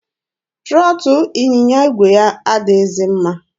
Trọtụ ịnyịnya igwe ya adịghịzi mma.